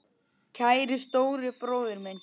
Kæri stóri bróðir minn.